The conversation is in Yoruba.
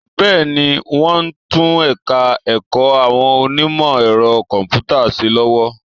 Bẹ́ẹ̀ni, wọ́n ń tún ẹ̀ka ẹ̀kọ́ àwọn onímọ̀ ẹ̀rọ kọ̀m̀pútà ṣe lọ́wọ́